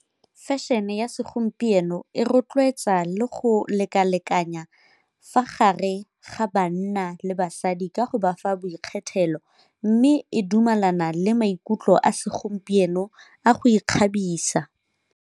Fashion-e ya segompieno e rotloetsa le go lekalekanya fa gare ga banna le basadi ka go ba fa boikgethelo, mme e dumelana le maikutlo a segompieno a go ikgabisa.